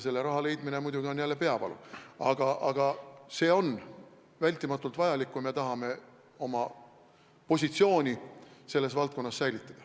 Selle raha leidmine on muidugi jälle peavalu, aga see on vältimatult vajalik, kui me tahame oma positsiooni selles valdkonnas säilitada.